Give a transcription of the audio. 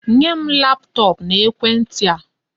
Nye m laptop na ekwenti a!